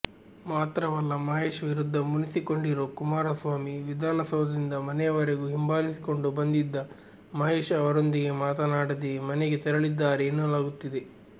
ಮಾತ್ರವಲ್ಲ ಮಹೇಶ್ ವಿರುದ್ದ ಮುನಿಸಿಕೊಂಡಿರೊ ಕುಮಾರಸ್ವಾಮಿ ವಿಧಾನಸೌಧದಿಂದ ಮನೆಯವರೆಗೂ ಹಿಂಬಾಲಿಸಿಕೊಂಡು ಬಂದಿದ್ದ ಮಹೇಶ್ ಅವರೊಂದಿಗೆ ಮಾತನ್ನಾಡದೆಯೇ ಮನೆಗೆ ತೆರಳಿದ್ದಾರೆ ಎನ್ನಲಾಗುತ್ತಿದೆ